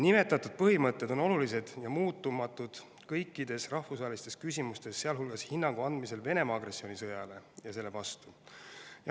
Nimetatud põhimõtted on olulised ja muutumatud kõikides rahvusvahelistes küsimustes, sealhulgas hinnangu andmisel Venemaa agressioonisõjale ja selle vastu olemisel.